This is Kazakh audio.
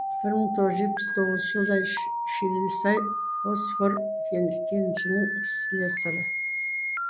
бір мың тоғыз жүз жетпіс тоғызыншы жылдай шилісай фосфор кенішінің слесарі